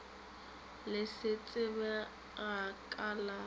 le se tsebega ka la